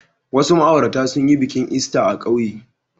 Wasu ma'aurata sun yi bikin Ista a ƙauye.